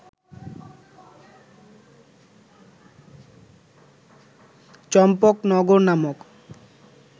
চম্পকনগর নামক